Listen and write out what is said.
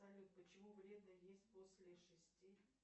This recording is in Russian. салют почему вредно есть после шести